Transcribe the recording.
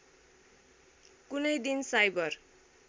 कुनै दिन साइबर